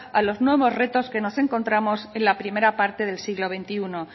a los nuevos retos que nos encontramos en la primera parte del siglo veintiuno